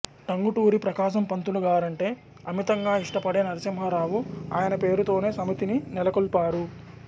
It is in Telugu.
టంగుటూరి ప్రకాశం పంతులు గారంటే అమితంగా ఇష్టపడే నరసింహారావు ఆయన పేరుతోనే సమితిని నెలకొల్పారు